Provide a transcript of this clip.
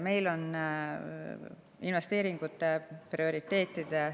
Meil on investeeringute prioriteetide